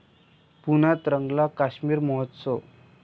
पुण्यात रंगला काश्मीर महोत्सव